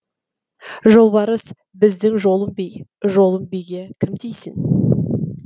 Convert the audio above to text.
жолбарыс біздің жолым би жолым биге кім тисін